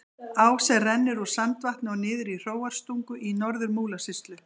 Á sem rennur úr Sandvatni og niður í Hróarstungu í Norður-Múlasýslu.